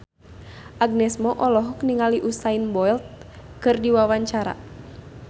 Agnes Mo olohok ningali Usain Bolt keur diwawancara